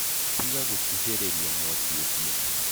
Tiga gũkuhĩrĩria mwaki ũcio.